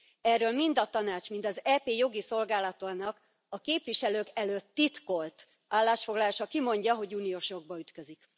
Erről mind a Tanács, mind az EP jogi szolgálatainak a képviselők előtt titkolt állásfoglalása kimondja, hogy uniós jogba ütközik.